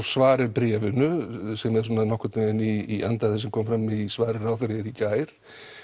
svar við bréfinu sem er svona nokkurn veginn í anda þess sem kom fram í svari ráðherra hér í gær